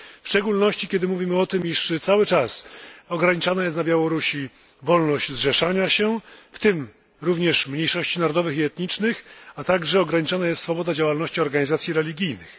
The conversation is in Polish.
W szczególności kiedy mówimy o tym, że cały czas ograniczana jest na Białorusi wolność zrzeszania się, w tym również mniejszości narodowych i etnicznych, a także ograniczona jest swoboda działalności organizacji religijnych.